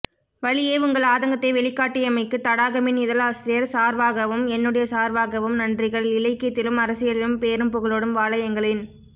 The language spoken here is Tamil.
வழியே உங்கள் ஆதங்கத்தை வெளிக்காட்டியமைக்குதடாக மின் இதழ் ஆசிரியர் சார்வாகவும் என்னுடையசார்வாகவும் நன்றிகள் இலக்கியத்திலும்அரசியலிலும் பேரும் புகழோடும் வாழ எங்களின்